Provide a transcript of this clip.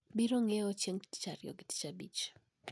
Biro ng`iewo chieng` tich Ariyo gi tich Abich